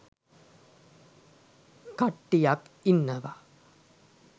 කට්ටියක් ඉන්නවා